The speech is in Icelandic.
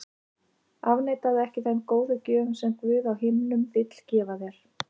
Afneitaðu ekki þeim góðu gjöfum sem Guð á himnum vill gefa þér.